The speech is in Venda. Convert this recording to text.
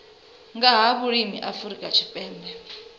nga ha vhulimi afrika tshipembe